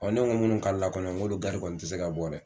ne ko munnu kaala kɔni ŋ'olu gari kɔni ti se ka bɔ dɛ.